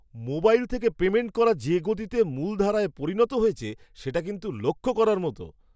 Mobile থেকে payment করা যে গতিতে মূলধারায় পরিণত হয়েছে সেটা কিন্তু লক্ষ করার মতো!